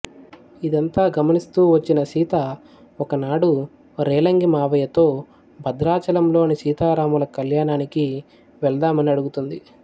ఇదంతా గమనిస్తూ వచ్చిన సీత ఒకనాడు రేలంగి మావయ్యతో భద్రాచలంలోని సీతారాముల కళ్యాణానికి వెళ్దామని అడుగుతుంది